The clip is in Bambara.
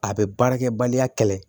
A bɛ baarakɛbaliya kɛlɛ